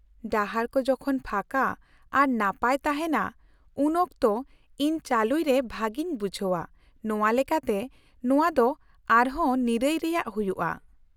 -ᱰᱟᱦᱟᱨ ᱠᱚ ᱡᱚᱠᱷᱚᱱ ᱯᱷᱟᱸᱠᱟ ᱟᱨ ᱱᱟᱯᱟᱭ ᱛᱟᱦᱮᱱᱟ ᱩᱱ ᱚᱠᱛᱚ ᱤᱧ ᱪᱟᱹᱞᱩᱭ ᱨᱮ ᱵᱷᱟᱹᱜᱤᱧ ᱵᱩᱡᱷᱟᱹᱣᱟ, ᱱᱚᱶᱟ ᱞᱮᱠᱟᱛᱮ ᱱᱚᱶᱟ ᱫᱚ ᱟᱨᱦᱚᱸ ᱱᱤᱨᱟᱹᱭ ᱨᱮᱭᱟᱜ ᱦᱩᱭᱩᱜᱼᱟ ᱾